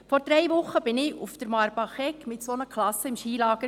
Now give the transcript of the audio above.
Vor drei Wochen war ich mit zwei Klassen auf der Marbachegg im Skilager.